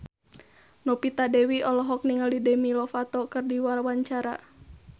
Novita Dewi olohok ningali Demi Lovato keur diwawancara